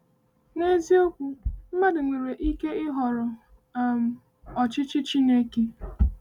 “N’eziokwu, mmadụ nwere ike ịhọrọ um ọchịchị Chineke.” um